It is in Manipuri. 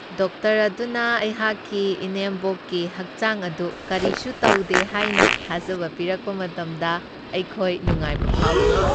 ꯗꯣꯛꯇꯔ ꯑꯗꯨꯅ ꯑꯩꯍꯥꯛꯀꯤ ꯏꯅꯦꯝꯕꯣꯛꯀꯤ ꯍꯛꯆꯥꯡ ꯑꯗꯨ ꯀꯔꯤꯁꯨ ꯇꯧꯗꯦ ꯍꯥꯏꯅ ꯊꯥꯖꯕ ꯄꯤꯔꯛꯄ ꯃꯇꯝꯗ ꯑꯩꯈꯣꯏ ꯅꯨꯡꯉꯥꯏꯕ ꯐꯥꯎꯈꯤ ꯫